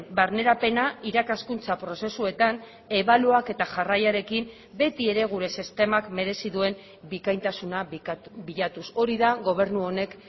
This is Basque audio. barnerapena irakaskuntza prozesuetan ebaluaketa jarraiarekin beti ere gure sistemak merezi duen bikaintasuna bilatuz hori da gobernu honek